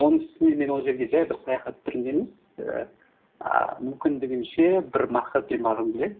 оның үстіне мен ол жерге жай бір саяхат түрінде емес і ааа мүмкіндігінше бір мақсатпен барғым келеді